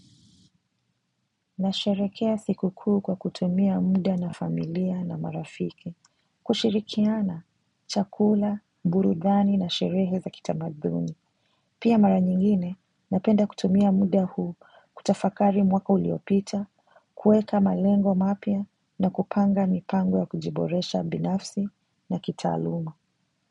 Na sherehekea siku kuu kwa kutumia muda na familia na marafiki, kushirikiana, chakula, burudani na sherehe za kitamaduni. Pia mara nyingine napenda kutumia muda huu kutafakari mwaka uliopita, kuweka malengo mapya na kupanga mipango ya kujiboresha binafsi na kitaaluma.